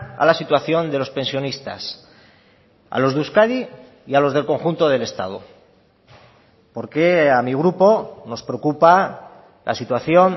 a la situación de los pensionistas a los de euskadi y a los del conjunto del estado porque a mi grupo nos preocupa la situación